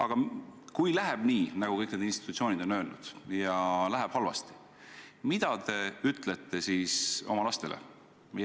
Aga kui läheb nii, nagu kõik need institutsioonid on öelnud, kui läheb halvasti, mida te ütlete siis oma lastele?